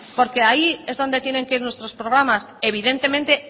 porque ahí es donde tiene que ir nuestros programas evidentemente